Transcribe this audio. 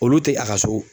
Olu tɛ a ka so